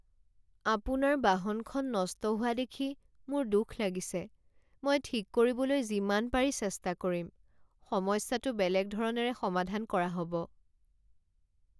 আপোনাৰ বাহনখন নষ্ট হোৱা দেখি মোৰ দুখ লাগিছে, মই ঠিক কৰিবলৈ যিমানপাৰি চেষ্টা কৰিম। সমস্যাটো বেলেগ ধৰণেৰে সমাধান কৰা হ'ব৷